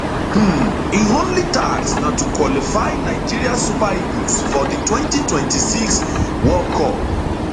um im only task na to qualify nigeria super eagles for di 2026 world cup